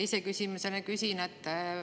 Teise küsimusena küsin seda.